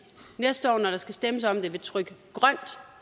næste år når der skal stemmes om det vil trykke grønt